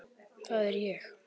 Það er ég.